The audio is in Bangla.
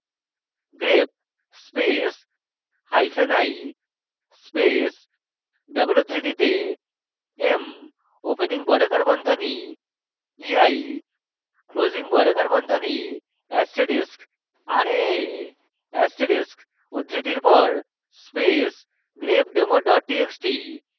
grep space hyphen i space double উদ্ধৃতিতে m opening বর্গাকার বন্ধনী ei closing বর্গাকার বন্ধনী asterisk raa asterisk উদ্ধৃতির পর space grepdemo double txt